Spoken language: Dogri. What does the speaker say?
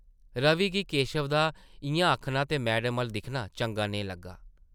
रवि गी केशव दा इʼयां आखना ते मैडम अʼल्ल दिक्खना चंगा नेईं लग्गा ।